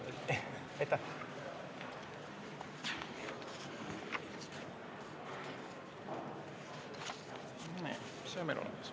Nii, see on meil nüüd olemas.